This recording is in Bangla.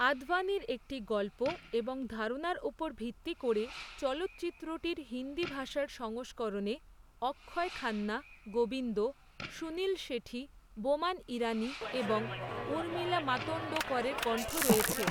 আদভানির একটি গল্প, এবং ধারণার উপর ভিত্তি করে, চলচ্চিত্রটির হিন্দি ভাষার সংস্করণে অক্ষয় খান্না, গোবিন্দ, সুনীল শেঠি, বোমান ইরানি এবং উর্মিলা মাতোন্ডকরের কণ্ঠ রয়েছে।